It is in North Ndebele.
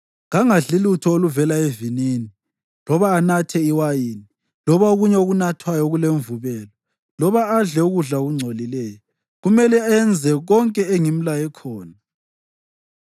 Kangadli lutho oluvela evinini, loba anathe iwayini loba okunye okunathwayo okulemvubelo loba adle ukudla okungcolileyo. Kumele enze konke engimlaye khona.”